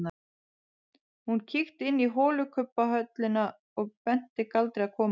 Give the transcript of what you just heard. Hún kíkti inn í holukubbhöllina og benti Galdri að koma.